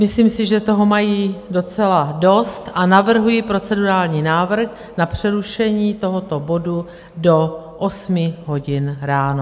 Myslím si, že toho mají docela dost, a navrhuji procedurální návrh na přerušení tohoto bodu do osmi hodin ráno.